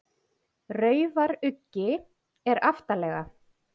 Raufaruggi er aftarlega.